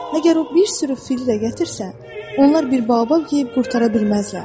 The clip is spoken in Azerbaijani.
Məgər o bir sürü fil də gətirsə, onlar bir Baobab yeyib qurtara bilməzlər.